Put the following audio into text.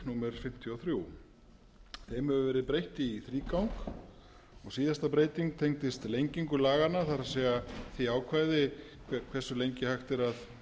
númer fimmtíu og þrjú þeim hefur verið breytt í þrígang og síðasta breyting tengdist lengingu laganna það er því ákvæði hversu lengi hægt er að